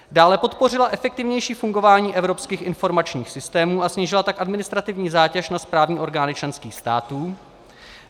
dále, podpořila efektivnější fungování evropských informačních systémů, a snížila tak administrativní zátěž na správní orgány členských států;